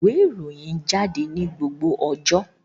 ìwé Ìròyìn jáde ní gbogbo ọjọ